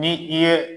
Ni i ye